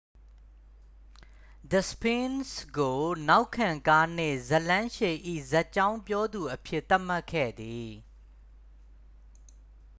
the sphinx ကို နောက်ခံကားနှင့် ဇာတ်လမ်းရှည်၏ ဇာတ်ကြောင်းပြောသူအဖြစ် သတ်မှတ်ခဲ့သည်